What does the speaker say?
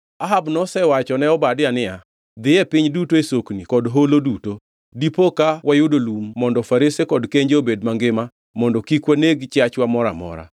Ahab nosewacho ne Obadia niya, “Dhi e piny duto e sokni kod holo duto. Dipo ka wayudo lum mondo farese kod kenje obed mangima mondo kik waneg chiachwa moro amora.”